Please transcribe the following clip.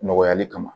Nɔgɔyali kama